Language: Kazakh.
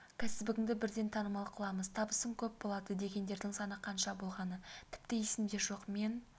кәсібіңді бірден танымал қыламыз табысың көп болады дегендердің саны қанша болғаны тіпті есімде жоқ мен